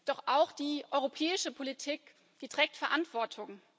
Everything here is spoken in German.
Doch auch die europäische Politik trägt Verantwortung.